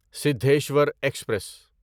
Siddheshwar express